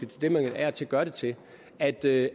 til det man af og til gør det til at det